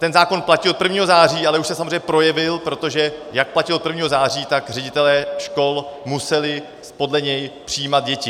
Ten zákon platil od 1. září, ale už se samozřejmě projevil, protože jak platil od 1. září, tak ředitelé škol museli podle něj přijímat děti.